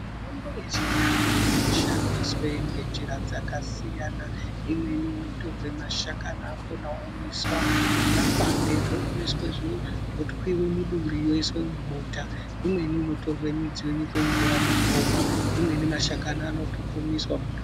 Mitombo yechindau inoshandiswe ngenzira dzakasiyana imweni inotorwe mashakani anokhona omwiswa nemakwande zvomwiswe zvo zvotwiwe muduri yoiswe mubota imweni inotorwe mudzi yonyikwe mumvura muntu omwa imweni mashakani ano pupumiswa muntu.